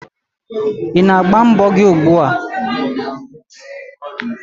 Ị na-agba mbọ gị ugbua?